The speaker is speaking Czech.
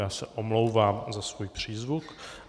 Já se omlouvám za svůj přízvuk.